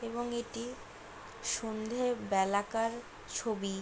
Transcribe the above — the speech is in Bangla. এবং এটি সন্ধে বেলাকার ছবি।